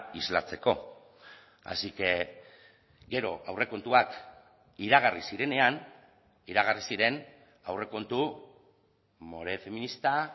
islatzeko así que gero aurrekontuak iragarri zirenean iragarri ziren aurrekontu more feminista